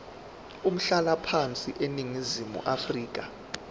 umhlalaphansi eningizimu afrika